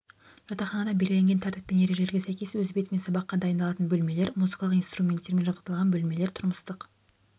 жатақханада белгіленген тәртіп пен ережелерге сәйкес өз бетімен сабаққа дайыналатын бөлмелер музыкалық инструменттермен жабдықталған бөлмелер тұрмыстық